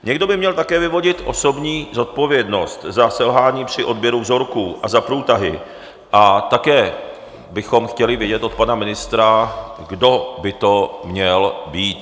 Někdo by měl také vyvodit osobní zodpovědnost za selhání při odběru vzorků a za průtahy a také bychom chtěli vědět od pana ministra, kdo by to měl být.